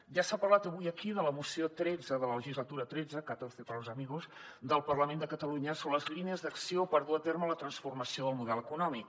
ja s’ha parlat avui aquí de la moció tretze de la legislatura xiii xiv para los amigos del parlament de catalunya sobre les línies d’acció per dur a terme la transformació del model econòmic